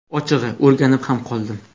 Ochig‘i, o‘rganib ham qoldim.